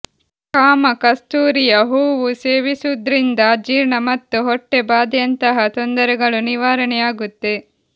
ಕಾಮ ಕಸ್ತೂರಿಯ ಹೂವು ಸೇವಿಸುವುದ್ರಿಂದ ಅಜೀರ್ಣ ಮತ್ತು ಹೊಟ್ಟೆ ಭಾದೆಯಂತಹ ತೊಂದರೆಗಳು ನಿವಾರಣೆಯಾಗುತ್ತೆ